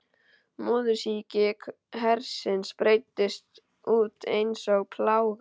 Móðursýki hersins breiddist út einsog plága.